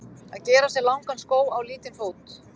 Að gera sér langan skó á lítinn fót